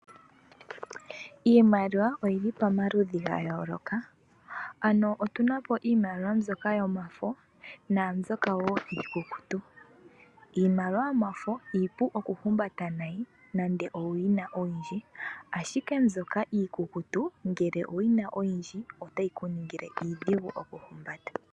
Iimaliwa oyi li pomaludhi gayooloka, yimwe oyomafo, nayimwe iikukutu. Iimaliwa yomafo iipu oku humbata nenge owu yina oyindji, ashike mbyoka iikukutu ngele owu yina oyindji ota yi kuningile iidhigu oku humbata.